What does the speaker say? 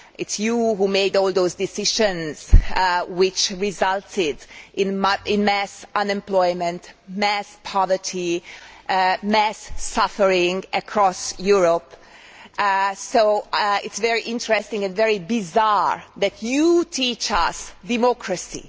It is you who made all those decisions which resulted in mass unemployment, mass poverty and mass suffering across Europe. So it is very interesting and very bizarre that you teach us democracy.